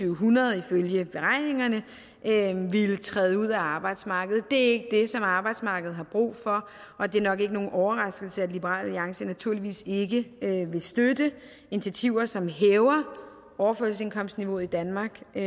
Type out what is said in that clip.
hundrede ifølge beregningerne ville træde ud af arbejdsmarkedet det er som arbejdsmarkedet har brug for og det er nok ikke nogen overraskelse at liberal alliance naturligvis ikke vil støtte initiativer som hæver overførselsindkomstniveauet i danmark i